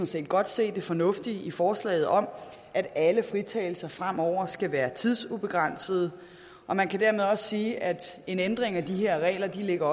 set godt se det fornuftige i forslaget om at alle fritagelser fremover skal være tidsubegrænsede og man kan dermed også sige at en ændring af de her regler ligger